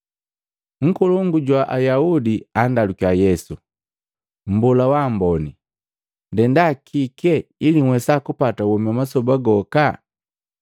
Nkolongu jumu jwa Ayaudi andalukiya Yesu, “Mmbola wa ambone, ndenda kike ili nhwesa kupata womi wa masoba goka?”